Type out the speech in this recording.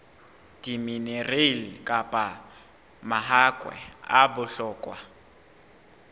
diminerale kapa mahakwe a bohlokwa